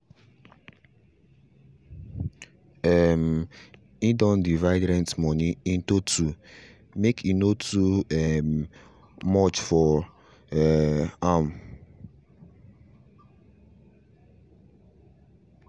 um he done divide rent money into two make em no too um much for um am